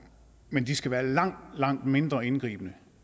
men de skal være langt langt mindre indgribende